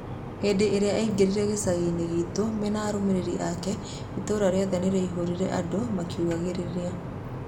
Hĩndĩ ĩrĩa aĩngĩrire gĩcaginĩ gitũ mena arũmĩrĩri ake itũra rĩothe nĩ riai-hũrire andũ makĩugagĩrĩria.